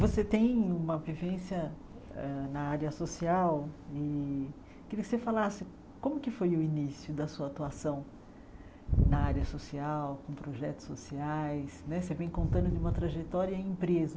Você tem uma vivência hã na área social e queria que você falasse como que foi o início da sua atuação na área social, com projetos sociais né, você vem contando de uma trajetória em empresa,